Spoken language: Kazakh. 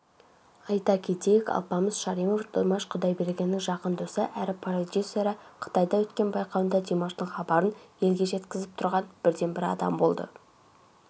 айта кетейік алпамыс шаримов димаш құдайбергеннің жақын досы әрі продюсері қытайда өткен байқауында димаштың хабарын елге жеткізіп тұрған бірден-бір адам болды